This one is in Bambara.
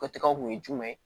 O tɔgɔ kun ye jumɛn ye